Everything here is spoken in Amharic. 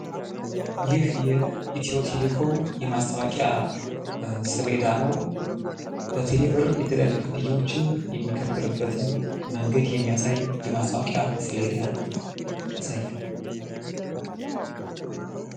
ይህ የኢትዮ ቴሌኮም የማስታወቂያ ሰሌዳ ነው። በቴሌ ብር የተለያዩ ክፍያዎችን የሚከፈልበትን መንገድ የሚያሳይ የማስታወቂያ ሰሌዳ ያሳያል።